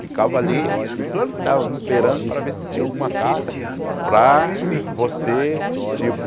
Ficava ali e plantava, esperando para ver se tinha alguma carta para você, tipo,